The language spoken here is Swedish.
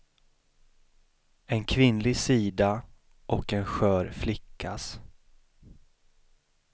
En kvinnlig sida och en skör flickas.